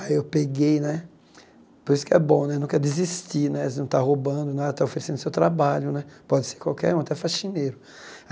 Aí eu peguei né, por isso que é bom né, nunca desistir né, você não está roubando nada, está oferecendo o seu trabalho né, pode ser qualquer um, até faxineiro.